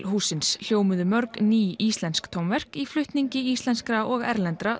hússins hljómuðu mörg ný íslensk tónverk í flutningi íslenskra og erlendra